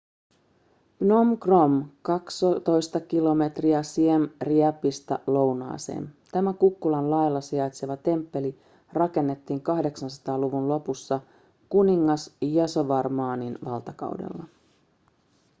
phnom krom 12 km siem reapista lounaaseen tämä kukkulan laella sijaitseva temppeli rakennettiin 800-luvun lopussa kuningas yasovarmanin valtakaudella